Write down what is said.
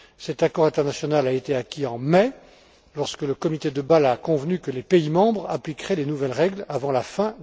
Cet accord international a été acquis en mai, lorsque le comité de Bâle a convenu que les pays membres appliqueraient les nouvelles règles avant la